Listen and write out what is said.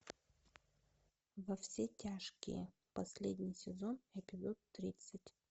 во все тяжкие последний сезон эпизод тридцать